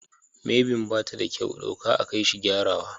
Mairbin bata da kyau, ɗauka a kaishi gyarawa.